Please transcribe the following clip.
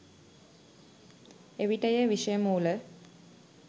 එවිට එය විෂයමූල